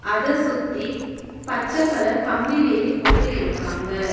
அத சுத்தி பச்ச கலர் கம்பி வேலி போட்டு இருக்காங்க.